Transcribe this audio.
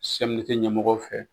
CMDT ɲɛmɔgɔw fɛ